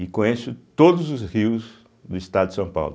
E conheço todos os rios do estado de São Paulo.